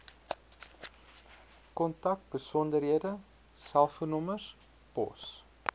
kontakbesonderhede selfoonnommers pos